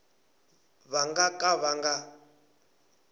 va nga ka va nga